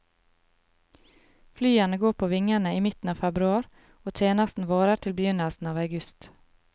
Flyene går på vingene i midten av februar, og tjenesten varer til begynnelsen av august.